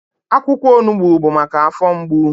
Akwụkwọ onugbu bụ maka afọ mgbu.